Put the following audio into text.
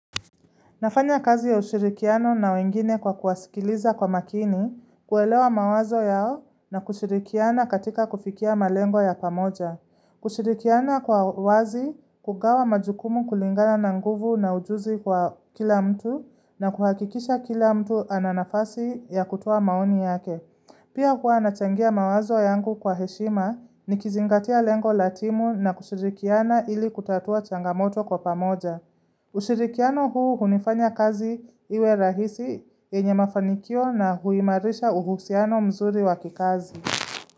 Nafanya kazi ya ushirikiano na wengine kwa kuwasikiliza kwa makini, kuelewa mawazo yao na kushirikiana katika kufikia malengo ya pamoja. Kushirikiana kwa uwazi, kugawa majukumu kulingana na nguvu na ujuzi kwa kila mtu na kuhakikisha kila mtu ana nafasi ya kutoa maoni yake. Pia huwa nachangia mawazo yangu kwa heshima, nikizingatia lengo la timu na kushirikiana ili kutatua changamoto kwa pamoja. Ushirikiano huu hunifanya kazi iwe rahisi yenye mafanikio na huimarisha uhusiano mzuri wa kikazi.